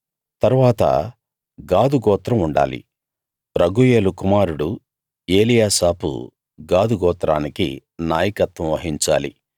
తరువాత గాదు గోత్రం ఉండాలి రగూయేలు కుమారుడు ఏలీయాసాపు గాదు గోత్రానికి నాయకత్వం వహించాలి